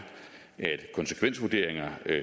at konsekvensvurderinger